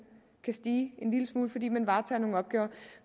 kan stige en lille smule fordi man varetager nogle opgaver